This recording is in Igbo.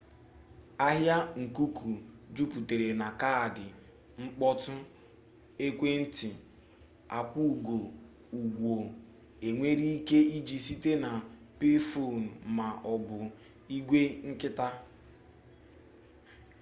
ahịa nkuku juputara na kaadị mkpọtụ ekwentị akwụgo ụgwọ enwere ike iji site na payphone ma ọ bụ igwe nkịtị